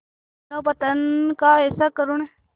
मानवपतन का ऐसा करुण